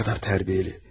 Ne kadar terbiyeli.